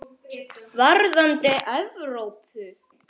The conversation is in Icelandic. Varðandi Evrópu?